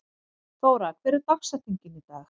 Þóra, hver er dagsetningin í dag?